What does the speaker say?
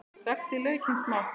Saxið laukinn smátt.